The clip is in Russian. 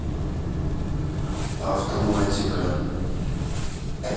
автоматика